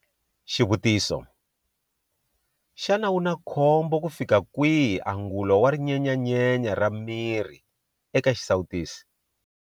Xivutiso- Xana wu na khombo kufika kwihi angulo wa rinyenyanyenya ra miri eka xisawutisi?